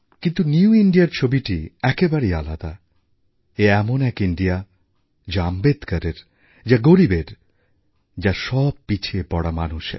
কিন্তু নিউ Indiaর ছবিটি একেবারেই আলাদা এ এমন এক ভারতবর্ষ যা আম্বেদকরের যা গরিবের যা সব পিছিয়ে পড়া মানুষের